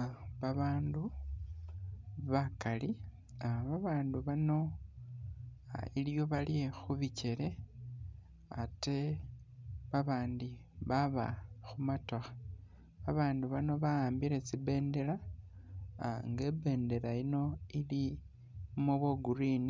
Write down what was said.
Ah babaandu bakali nga baandu bano iliwo bali khu bikele ate babaandi baba khu motokha. Abaandu bano ba'ambile tsi bendela ah nga ibendela yino ilimo bwa green